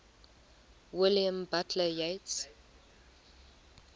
william butler yeats